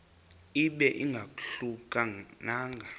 ibe ingahluka nanga